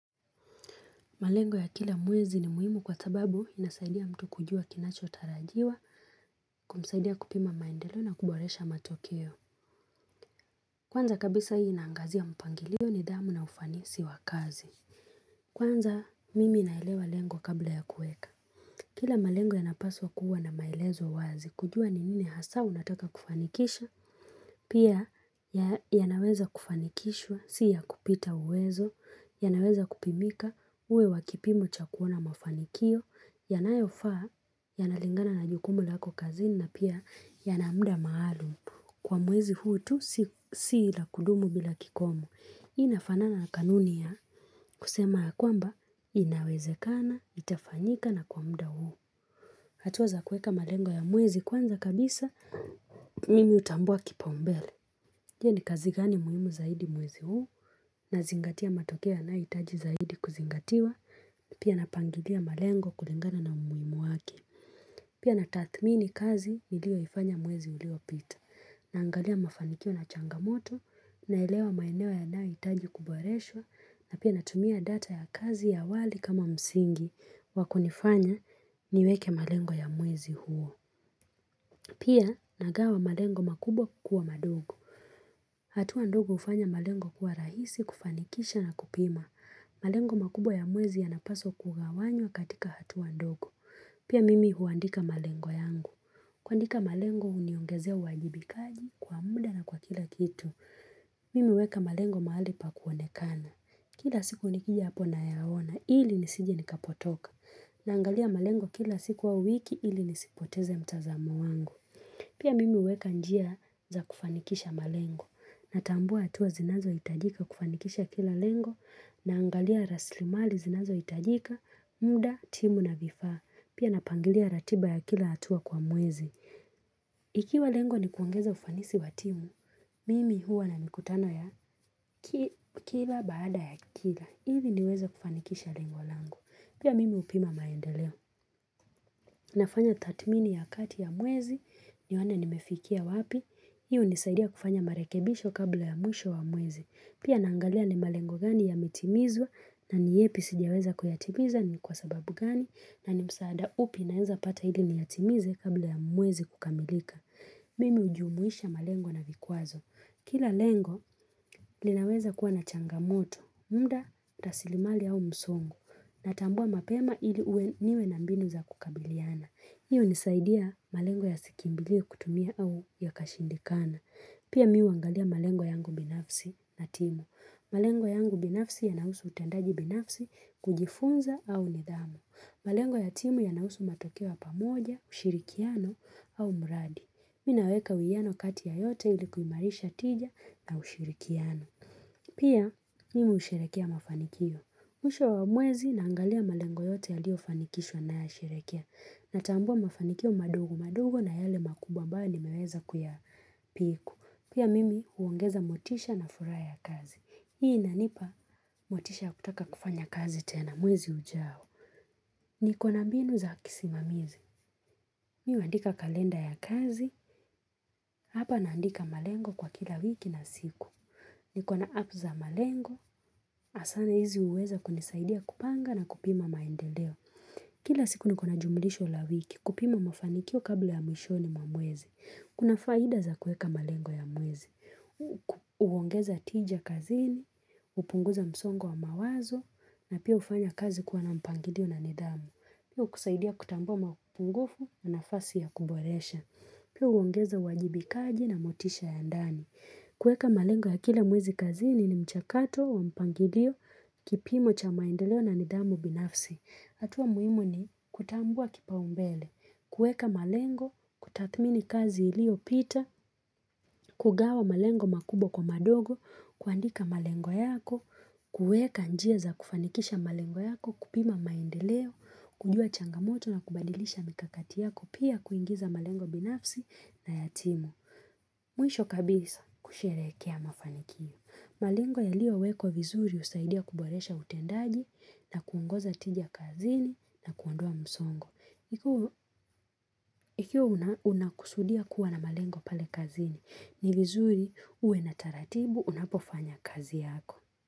Malengo ya kila mwezi ni muhimu kwa sababu inasaidia mtu kujua kinachotarajiwa, kumsaidia kupima maendelo na kuboresha matokeo. Kwanza kabisa hii inaangazia mpangilio nidhamu na ufanisi wa kazi. Kwanza mimi naelewa lengo kabla ya kueka. Kila malengo yanapaswa kuwa na maelezo wazi. Kujua ni nini hasa unataka kufanikisha. Pia yanaweza kufanikishwa. Si ya kupita uwezo, yanaweza kupimika. Uwe wa kipimo cha kuona mafanikio yanayofaa. Yanalingana na jukumu lako kazini. Na pia yana mda maalum. Kwa mwezi huu tu si la kudumu bila kikomo. Hii nafanana na kanuni ya kusema ya kwamba inawezekana, itafanyika na kwa mda huu. Hatua za kuweka malengo ya mwezi kwanza kabisa, mimi hutambua kipaumbele. Je, kazi gani muhimu zaidi muwezi huu? Nazingatia matokea yanayohitaji zaidi kuzingatiwa. Pia napangilia malengo kulingana na umuhimu wake. Pia na tathmini kazi nilioifanya mwezi uliopita. Naangalia mafanikio na changamoto. Naelewa maeneo yanayohitaji kuboreshwa. Na pia natumia data ya kazi ya awali kama msingi wakunifanya niweke malengo ya mwezi huo. Pia nagawa malengo makubwa kukua madogo. Hatua ndogo hufanya malengo kuwa rahisi kufanikisha na kupima. Malengo makubwa ya mwezi yanapaswa kugawanywa katika hatua ndogo. Pia mimi huandika malengo yangu. Kuandika malengo huniongezea wajibikaji kwa muda na kwa kila kitu. Mimi huweka malengo mahali pa kuonekana. Kila siku nikija hapo nayaona ili nisije nikapotoka. Naangalia malengo kila siku wa wiki ili nisipoteze mtazamo wangu. Pia mimi huweka njia za kufanikisha malengo. Natambua atua zinazohitajika kufanikisha kila lengo. Naangalia raslimali zinazohitajika, muda, timu na vifaa. Pia napangilia ratiba ya kila atua kwa mwezi. Ikiwa lengo ni kuongeza ufanisi wa timu, mimi huwa na mikutano ya kila baada ya kila. Ili niweza kufanikisha lengo lango. Pia mimi hupima maendeleo, Nafanya tathmini ya kati ya mwezi. Nione nimefikia wapi. Hiyo hunisaidia kufanya marekebisho kabla ya mwisho wa mwezi. Pia naangalia ni malengo gani yametimizwa, na ni yepi sijaweza kuyatimizwa. Na ni kwa sababu gani? Na ni msaada upi naenza pata ili niyatimize kabla ya mwezi kukamilika. Mimi hujumuisha malengo na vikwazo. Kila lengo linaweza kuwa na changamoto, mda, tasilimali au msongo. Natambua mapema ili niwe na mbinu za kukabiliana. Hiyo hunisaidia malengo yasikimbilie kutumia au yakashindikana. Pia mimi huangalia malengo yangu binafsi na timu. Malengo yangu binafsi yanahusu utendaji binafsi, kujifunza au nidhamu. Malengo ya timu ya nahusu matokeo ya pamoja, ushirikiano au mradi. Mimi naweka uwiano kati ya yote ili kuimarisha tija na ushirikiano. Pia, mimi husherekea mafanikio. Mwisho wa mwezi naangalia malengo yote yaliyofanikishwa nayasherehekea. Natambua mafanikio madogo madogo na yale makubwa ambayo nimeweza kuyapiku. Pia mimi huongeza motisha na furaha ya kazi. Hii inanipa motisha ya kutaka kufanya kazi tena mwezi ujao. Nikona mbinu za kisimamizi. Mimi huandika kalenda ya kazi. Hapa naandika malengo kwa kila wiki na siku. Nikona app za malengo. Hasa sana hizi huweza kunisaidia kupanga na kupima maendeleo. Kila siku niko na jumulisho la wiki. Kupima mafanikio kabla ya mwishoni mwa mwezi. Kuna faida za kueka malengo ya mwezi. Huongeza tija kazini. Hupunguza msongo wa mawazo, na pia hufanya kazi kuwa na mpangilio na nidhamu. Pia hukusaidia kutambua mapungufu na nafasi ya kuboresha. Pia huongeza uajibikaji na motisha ya ndani. Kueka malengo ya kila mwezi kazini ni mchakato wa mpangilio, kipimo cha maendeleo na nidhamu binafsi. Hatua muhimuni, kutambua kipaumbele. Kueka malengo. Kutathmini kazi iliopita. Kugawa malengo makubwa kwa madogo. Kuandika malengo yako. Kueka njia za kufanikisha malengo yako. Kupima maendeleo, kujua changamoto na kubadilisha mikakati yako. Pia kuingiza malengo binafsi na ya timu. Mwisho kabisa kusherekea mafanikio. Malengo yaliowekwa vizuri husaidia kuboresha utendaji na kuongoza tijia kazini na kuondoa msongo. Ikiwa unakusudia kuwa na malengo pale kazini, ni vizuri uwe na taratibu unapofanya kazi yako.